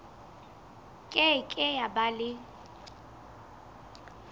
ke ke ya ba le